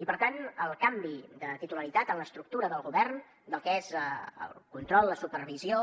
i per tant el canvi de titularitat en l’estructura del govern del que és el control la supervisió